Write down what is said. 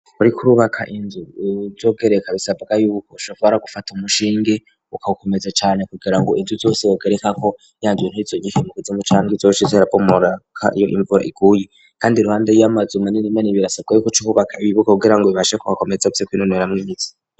Urikourubaka inzu zogereka bisabwa yuko shovora gufata umushinge ukawukomeza cane kugira ngo inzu zose wogereka ko yanjwe ntizo igikimuka zomucanke zoshizo rabomoraka iyo imvura iguye, kandi ruhande yiyo amaze uma nini mani birasabwa yuko coububaka ibibugo kugira ngo bibashekugakomeza vyeko'inonera mwizi.